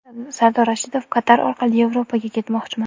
Sardor Rashidov: Qatar orqali Yevropaga ketmoqchiman.